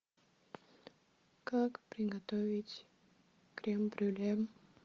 как приготовить крем брюле